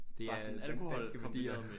Bare sådan danske værdier